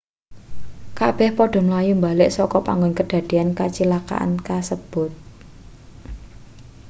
kabeh padha mlayu mbalik saka panggon kedadeyan kacilakan kasebut